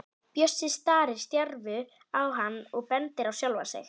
Bjössi starir stjarfur á hann og bendir á sjálfan sig.